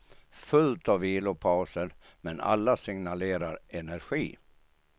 Fullt av vilopauser, men alla signalerar energi.